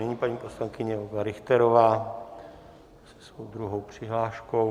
Nyní paní poslankyně Olga Richterová se svou druhou přihláškou.